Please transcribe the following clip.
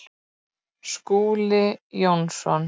Skúli Jónsson